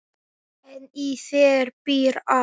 En í þér býr allt.